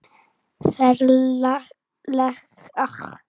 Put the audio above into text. Ferlegt ástand hjá honum.